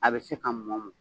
A bɛ se ka mɔ mɔ